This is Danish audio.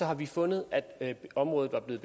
har vi fundet at området er blevet